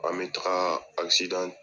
An be taga